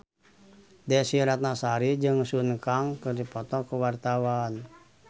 Desy Ratnasari jeung Sun Kang keur dipoto ku wartawan